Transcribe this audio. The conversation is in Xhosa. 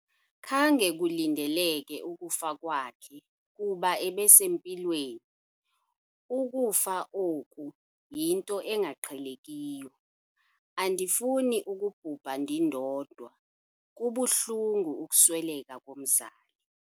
Khange kulindeleke ukufa kwakhe kuba ebesempilweni. ukufa oku yinto engaqhelekiyo, andifuni ukubhubha ndindodwa, kubuhlungu ukusweleka komzali